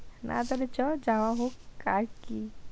বা তবে চ যাওয়া হোক, কার কি।